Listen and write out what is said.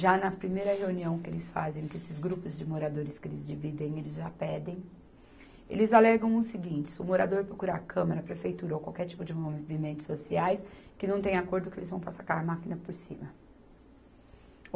Já na primeira reunião que eles fazem, com esses grupos de moradores que eles dividem, eles já pedem, eles alegam o seguinte, se o morador procurar a Câmara, a Prefeitura ou qualquer tipo de movimentos sociais, que não tem acordo, que eles vão passar com a máquina por cima.